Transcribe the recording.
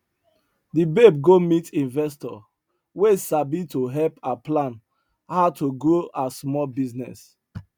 the babe go meet investor wey sabi to help her plan how to grow her small business